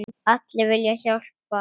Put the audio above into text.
Allir vilja hjálpa.